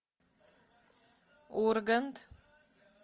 ургант